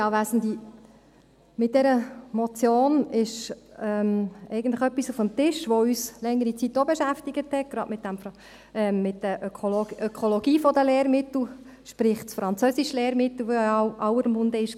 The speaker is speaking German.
Mit dieser Motion ist eigentlich etwas auf dem Tisch, das uns ebenfalls während längerer Zeit beschäftigt hat, gerade in Bezug auf die Ökologie der Lehrmittel, sprich des Französischlehrmittels, das ja in aller Munde war.